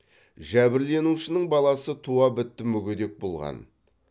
жәбірленушінің баласы туа бітті мүгедек болған